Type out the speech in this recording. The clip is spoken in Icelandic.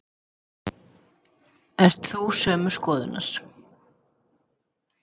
Ert þú sömu skoðunar?